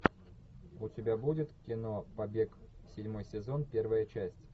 у тебя будет кино побег седьмой сезон первая часть